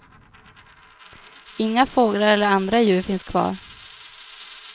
Inga fåglar eller andra djur finns kvar.